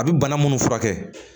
A bɛ bana minnu furakɛ